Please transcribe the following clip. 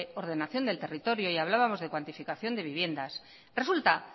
ordenación del territorio y hablábamos de cuantificación de viviendas resulta